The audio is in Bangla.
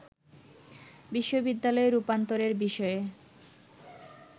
বিশ্ববিদ্যালয়ে রূপান্তরের বিষয়ে